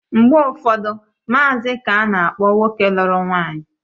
Mgbe ụfọdụ, maazi ka ana-akpọ nwoke lụrụ nwaanyị